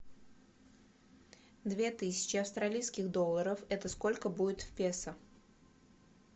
две тысячи австралийских долларов это сколько будет в песо